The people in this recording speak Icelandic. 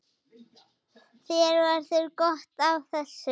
Þér verður gott af þessu